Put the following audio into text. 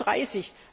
36